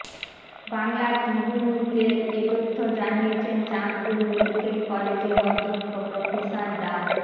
বাংলা ট্রিবিউনকে এ তথ্য জানিয়েছেন চাঁদপুর মেডিক্যাল কলেজের অধ্যক্ষ প্রফেসর ডা